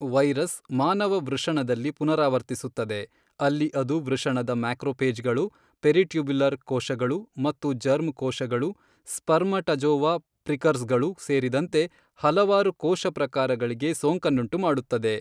Virus ಮಾನವ ವೃಷಣದಲ್ಲಿ ಪುನರಾವರ್ತಿಸುತ್ತದೆ, ಅಲ್ಲಿ ಇದು ವೃಷಣದ ಮ್ಯಾಕ್ರೋಫೇಜ್ಗಳು, ಪೆರಿಟ್ಯುಬ್ಯುಲರ್ ಕೋಶಗಳು ಮತ್ತು ಜರ್ಮ್ ಕೋಶಗಳು, ಸ್ಪರ್ಮಟಜೋವಾ ಪ್ರಿಕರ್ಸ್ರ್ಗಳು ಸೇರಿದಂತೆ ಹಲವಾರು ಕೋಶ ಪ್ರಕಾರಗಳಿಗೆ ಸೋಂಕನ್ನುಂಟುಮಾಡುತ್ತದೆ.